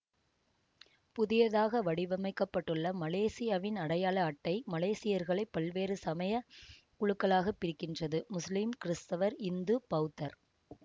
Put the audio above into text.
புதியதாக வடிவமைக்கப்பட்டுள்ள மலேசியாவின் அடையாள அட்டை மலேசியர்களை பல்வேறு சமய குழுக்களாகப் பிரிக்கின்றது முஸ்லிம் கிறித்தவர் இந்து பௌத்தர்